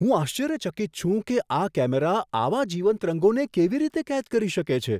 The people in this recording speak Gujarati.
હું આશ્ચર્યચકિત છું કે આ કેમેરા આવા જીવંત રંગોને કેવી રીતે કેદ કરી શકે છે!